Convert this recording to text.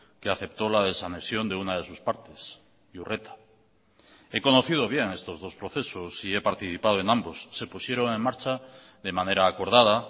que aceptó la desanexión de una de sus partes iurreta he conocido bien estos dos procesos y he participado en ambos se pusieron en marcha de manera acordada